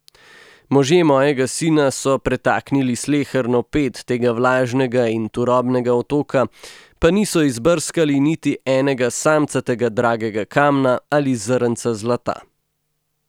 Možje mojega sina so pretaknili sleherno ped tega vlažnega in turobnega otoka, pa niso izbrskali niti enega samcatega dragega kamna ali zrnca zlata.